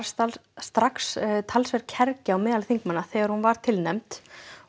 strax talsverð kergja á meðal þingmanna þegar hún var tilnefnd